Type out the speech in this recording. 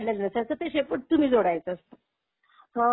फळ्यावर पण त्याला शेपूट काढलेलं नसायचं ते शेपूट तुम्ही जोडायचं असत.